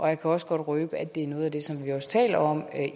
jeg kan også godt røbe at det er noget af det som vi ministre også taler om